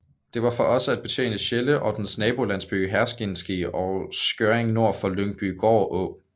Det var for også at betjene Sjelle og dens nabolandsbyer Herskind og Skjørring nord for Lyngbygård Å